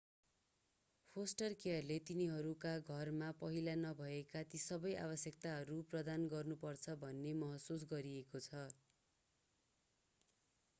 poster केयरले तिनीहरूका घरमा पहिला नभएका ती सबै आवश्यकताहरू प्रदान गर्नु पर्दछ भन्ने महसुस गरिएको छ